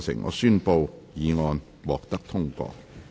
我宣布議案獲得通過。